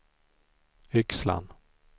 Yxlan